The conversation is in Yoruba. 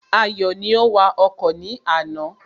Ayọ̀ ni ó wa ọkọ̀ ní àná